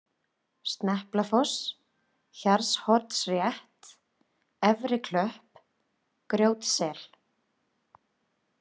Sneplafoss, Garðshornsrétt, Efriklöpp, Grjótsel